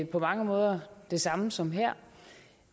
på mange måder det samme som her